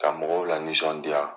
Ka mɔgɔw lanisɔndiya.